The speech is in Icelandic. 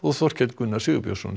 Þorkels Gunnars Sigurbjörnssonar